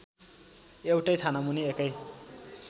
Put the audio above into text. एउटै छानामुनि एकै